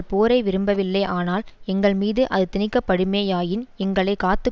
போரை விரும்பவில்லை ஆனால் எங்கள் மீது அது திணிக்கப்படுமேயாயின் எங்களை காத்து